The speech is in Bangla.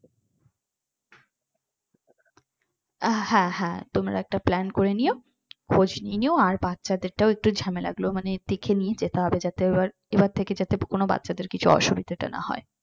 হ্যাঁ হ্যাঁ তোমরা একটা plan করে নিও খোঁজ নিয়ে নিও আর বাচ্চা দেরটাও একটু ঝামেলা গুলো মানে দেখে নিয়ে যেতে হবে যাতে এবার এবার থেকে যাতে কোন বাচ্চাদের কিছু অসুবিধা টা না হয়।